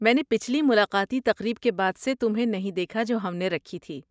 میں نے پچھلی ملاقاتی تقریب کے بعد سے تمہیں نہیں دیکھا جو ہم نے رکھی تھی۔